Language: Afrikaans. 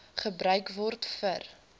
gebruik word vir